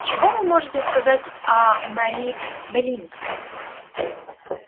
чего вы можете сказать о марии белинской